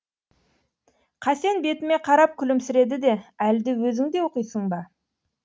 қасен бетіме қарап күлімсіреді де әлде өзің де оқисың ба